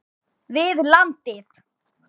við landið.